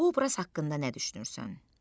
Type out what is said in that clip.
Bu obraz haqqında nə düşünürsən?